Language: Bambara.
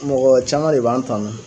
Mɔgɔ caman de b'an tanu.